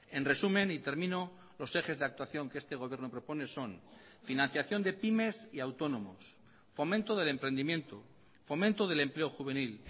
en resumen y termino los ejes de actuación que este gobierno propone son financiación de pymes y autónomos fomento del emprendimiento fomento del empleo juvenil